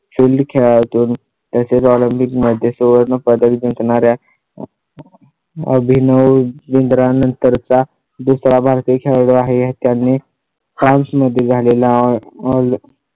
filed खेळातून OLYMPIC मध्ये सुवर्ण पदक जिंकणारा अभिनव बिंद्रा नंतरचा दुसरा भारतीय खेळाडू आहे. त्यांनी france मध्ये झालेला आहे.